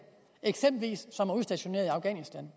som eksempelvis er udstationeret i afghanistan